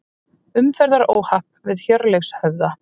Umferðaróhapp við Hjörleifshöfða